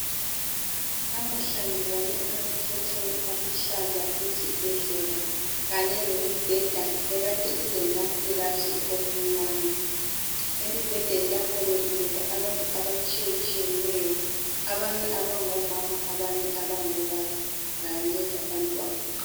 Namuhla ngibone amakhetheni aluhlaza esibhedlela kanye lemibheda ekade ilematrass omnyama emibhedeni lapho bekulele abantu abatshiyetshiyeneyo abanye abangomama abanye abangobaba kanye labantwana.